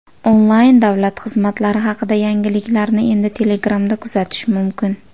Onlayn davlat xizmatlari haqida yangiliklarni endi Telegram’da kuzatish mumkin.